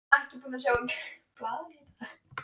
Ég var ekki búinn að sjá blaðið í dag.